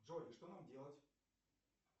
джой что нам делать